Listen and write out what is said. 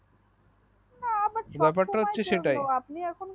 ব্যাপার তা হচ্ছে সেটাই